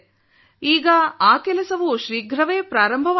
ಈಗ ಆ ಕೆಲಸವೂ ಶೀಘ್ರವೇ ಆರಂಭವಾಗಲಿದೆ